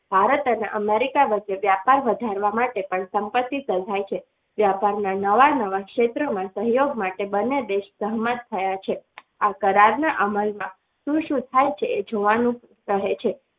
ભારત અને America વચ્ચે વેપાર વધારવા માટે પણ સંપત્તિ સહાય છે વ્યાપાર ના નવા નવા ક્ષેત્રોમાં સહયોગ માટે બંને દેશોએ સહમત થયા છે આ કરારના અમલમાં શું શું થાય છે એ જોવાનું રહે છે.